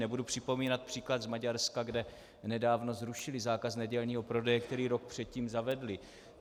Nebudu připomínat příklad z Maďarska, kde nedávno zrušili zákaz nedělního prodeje, který rok předtím zavedli.